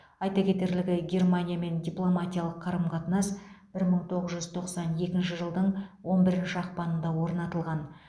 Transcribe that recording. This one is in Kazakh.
айта кетерлігі германиямен дипломатиялық қарым қатынас бір мың тоғыз жүз тоқсан екінші жылдың он бірінші ақпанында орнатылған